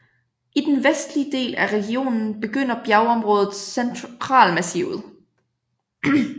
I den vestlige del af regionen begynder bjergområdet Centralmassivet